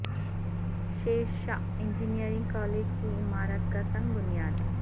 شیر Shah engineering college کی عمارت کا سنگ بنیاد